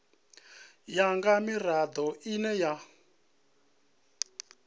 ya nga mirado ine ya